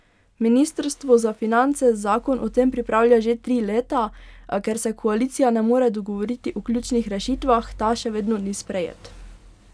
Ministrstvo za finance zakon o tem pripravlja že tri leta, a ker se koalicija ne more dogovoriti o ključnih rešitvah, ta še vedno ni sprejet.